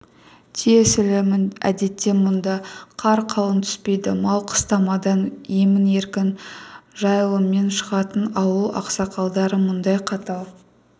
тиесілі әдетте мұнда қар қалың түспейді мал қыстамадан емін-еркін жайылыммен шығатын ауыл ақсақалдары мұндай қатал